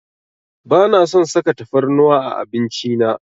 Bana son saka tafarnuwa a abinci na.